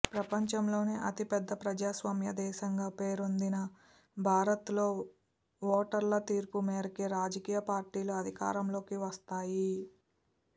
ప్రపంచంలోనే అతిపెద్ద ప్రజాస్వామ్య దేశంగా పేరొందిన భారత్లో ఓటర్ల తీర్పు మేరకే రాజకీయ పార్టీలు అధికారంలోకి వస్తాయి